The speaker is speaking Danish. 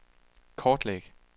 kortlæg